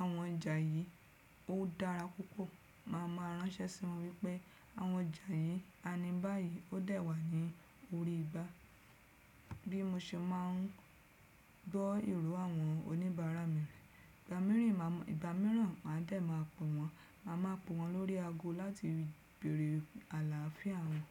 àwọn ọjà yìí ó dára púpọ̀, màá mà ránṣẹ́ sí wọn wípé àwọn ọjà yìí a ní báyìí ó dà wá ní orí igbá. Bí mo ṣe máa ń gbọ́ ìró àwọn oníbàárà mi. Ìgbà mírìnmà, ìgbà míràn màá dẹ̀ ma pe wọ́n, màá má pe wọ́n lórí aago láti bèèrè àlááfíà wọn.